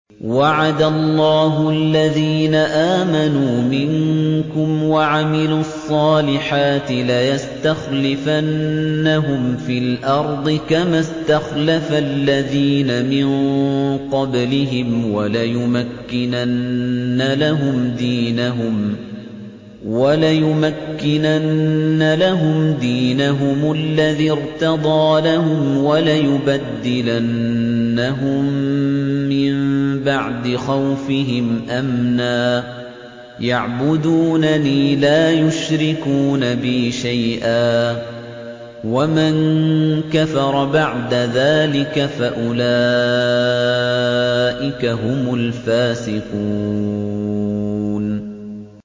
وَعَدَ اللَّهُ الَّذِينَ آمَنُوا مِنكُمْ وَعَمِلُوا الصَّالِحَاتِ لَيَسْتَخْلِفَنَّهُمْ فِي الْأَرْضِ كَمَا اسْتَخْلَفَ الَّذِينَ مِن قَبْلِهِمْ وَلَيُمَكِّنَنَّ لَهُمْ دِينَهُمُ الَّذِي ارْتَضَىٰ لَهُمْ وَلَيُبَدِّلَنَّهُم مِّن بَعْدِ خَوْفِهِمْ أَمْنًا ۚ يَعْبُدُونَنِي لَا يُشْرِكُونَ بِي شَيْئًا ۚ وَمَن كَفَرَ بَعْدَ ذَٰلِكَ فَأُولَٰئِكَ هُمُ الْفَاسِقُونَ